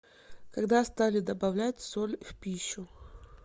когда стали добавлять соль в пищу